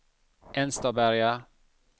Enstaberga